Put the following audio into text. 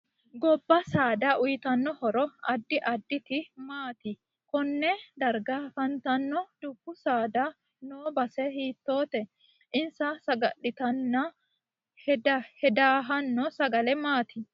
Gobba saada uyiitanno horo addi additi maati konne darga afantanno dubbu saada noo base hitoote insa sagalite heedahano sagale maati